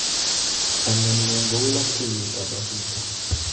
Chamyengung ko ulapleiyetap asista